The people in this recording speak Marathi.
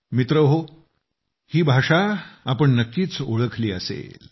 मित्रहो ही भाषा तुम्ही नक्कीच ओळखली असेल